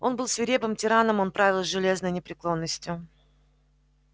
он был свирепым тираном он правил с железной непреклонностью